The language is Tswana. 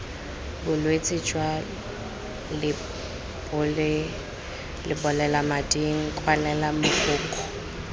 bolwetse jwa lebolelamading kwalela mogokgo